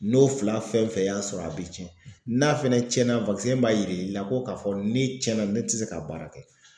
N'o fila fɛn fɛn y'a sɔrɔ a be cɛn. N'a fɛnɛ cɛnna b'a yir'i la ko k'a fɔ ne cɛnna ne ti se ka baara kɛ.